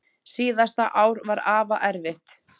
Síðasta ár var afa erfitt.